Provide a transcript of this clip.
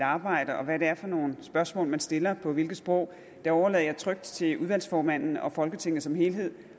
arbejde og hvad det er for nogle spørgsmål man stiller på hvilke sprog det overlader jeg trygt til udvalgsformanden og folketinget som helhed